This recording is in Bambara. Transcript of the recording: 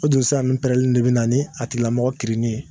O joli sira ninnu pɛrɛnln o de bɛ na ni a tigilamɔgɔ kirinni ye.